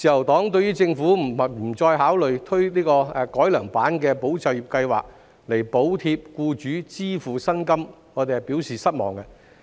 對於政府不再考慮推出改良版的"保就業"計劃，以補貼僱主支付薪金，自由黨表示失望。